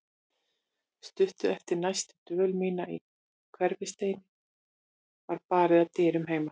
Stuttu eftir næturdvöl mína í Hverfisteini var barið að dyrum heima.